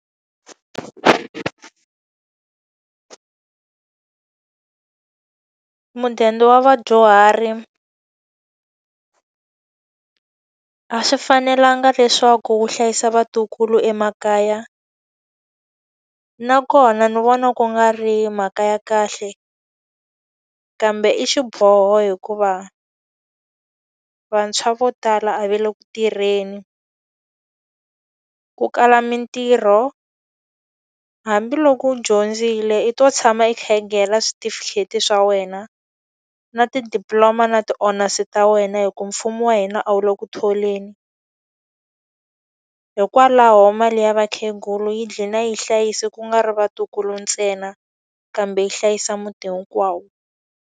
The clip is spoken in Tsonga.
Mudende wa vadyuhari a swi fanelanga leswaku wu hlayisa vatukulu emakaya, nakona ni vona ku nga ri mhaka ya kahle. Kambe i xiboho hikuva vantshwa vo tala a ve le ku tirheni. Ku kala mintirho, hambiloko u dyondzile i to tshama i khegela switifikheti swa wena. Na ti-diploma na ti-honors ta wena hikuva mfumo wa hina a wu le ku tholeni. Hikwalaho mali ya vakhegulu yi dlina yi hlayisa ku nga ri vatukulu ntsena, kambe yi hlayisa muti hinkwawo.